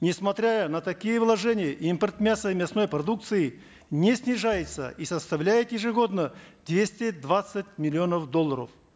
несмотря на такие вложения импорт мяса и мясной продукции не снижается и составляет ежегодно двести двадцать миллионов долларов